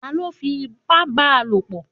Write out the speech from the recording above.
Ta ló fi ipá ba lò pọ̀?